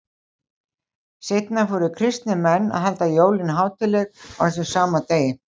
Seinna fóru kristnir menn að halda jólin hátíðleg á þessum sama degi.